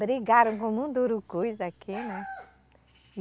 brigaram com mundurucus aqui, né?